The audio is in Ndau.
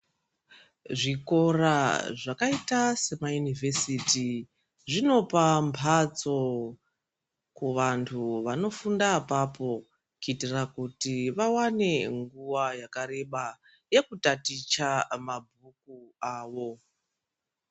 Zvikora zvakaita sema univesiti zvinopa mhatso kuvantu vanofunda apapo kuitira kuti vawane nguwa yakareba yekutaticha mabhuku avo.